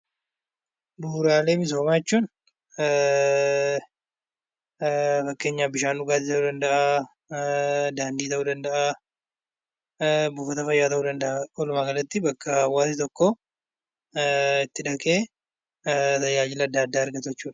Bu'uuraalee misoomaa jechuun fakkeenyaaf bishaan dhugaatii ta'uu danda'aa; daandii ta'uu danda'aa; buufata fayyaa ta'uu danda'a. Walumaagalatti, bakka hawaasi itti dhaqee tajaajila adda addaa argatu jechuu dha.